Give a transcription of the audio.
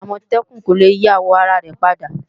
Àmọ̀tẹ́kùn kò le yí àwò ara rẹ̀ padà